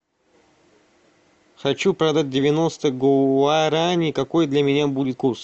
хочу продать девяносто гуарани какой для меня будет курс